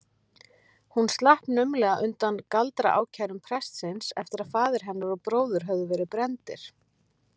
Hún slapp naumlega undan galdraákærum prestsins eftir að faðir hennar og bróðir höfðu verið brenndir.